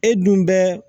E dun bɛɛ